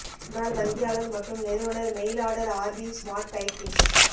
முன்னாள் வங்கியாளர் மற்றும் நிறுவனர் mail order RP smart kite kids